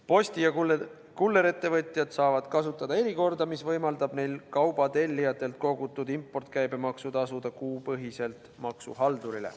Posti- ja kullerettevõtjad saavad kasutada erikorda, mis võimaldab neil kauba tellijatelt kogutud impordikäibemaksu tasuda kuupõhiselt maksuhaldurile.